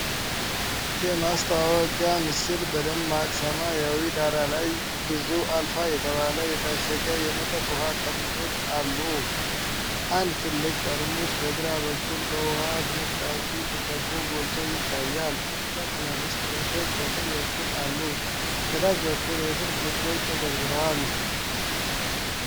የማስታወቂያ ምስል በደማቅ ሰማያዊ ዳራ ላይ ብዙ አልፋ የተባለ የታሸገ የመጠጥ ውሃ ጠርሙሶች አሉ። አንድ ትልቅ ጠርሙስ በግራ በኩል በውሃ ፍንጣቂ ተከቦ ጎልቶ ይታያል፤ ሁለት ትናንሽ ጠርሙሶች በቀኝ በኩል አሉ። ከታች በኩል የስልክ ቁጥሮች ተዘርዝረዋል።